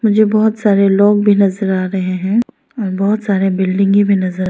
मुझे बहुत सारे लोग भी नजर आ रहे हैं और बहुत सारे बिल्डिंगें भी नजर--